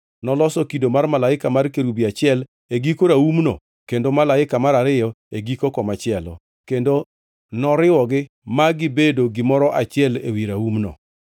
Noloso kido mar malaika mar kerubi achiel e giko raumno kendo malaika mar ariyo e giko komachielo; kendo noriwogi ma gibedo gimoro achiel ewi raumno.